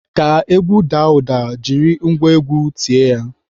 Ka egwu daa ụda, jiri ngwa egwu tie ya.